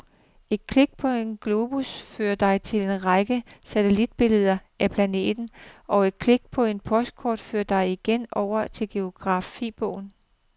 Et klik på en globus fører dig til en række satellitbilleder af planeten, og et klik på et postkort fører dig igen over i geografibogen.